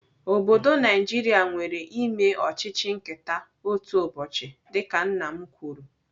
Obodo Naijiria nwere eme ọchịchị nketa otu ụbọchị dịka nna m kwuru.